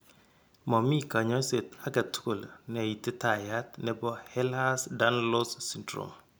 Momi kanyaiset agetugul neititayat nebo Ehlers Danlos Syndrome